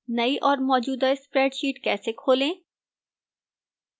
नई और मौजूदा spreadsheet कैसे खोलें